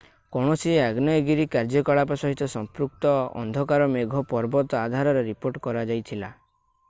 କୌଣସି ଆଗ୍ନେୟଗିରି କାର୍ଯ୍ୟକଳାପ ସହିତ ସମ୍ପୃକ୍ତ ଅନ୍ଧକାର ମେଘ ପର୍ବତ ଆଧାରରେ ରିପୋର୍ଟ କରାଯାଇଥିଲା